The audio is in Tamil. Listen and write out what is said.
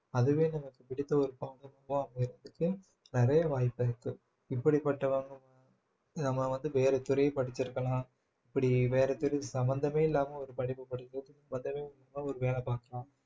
அதுவே நமக்கு பிடித்த ஒரு அமையறதுக்கு நிறைய வாய்ப்பு இருக்கு இப்படிப்பட்ட நம்ம வந்து வேற துறை படிச்சிருக்கலாம் இப்படி வேற பிரிவு சம்பந்தமே இல்லாம ஒரு படிப்பு படிக்க வேலை பார்க்கலாம்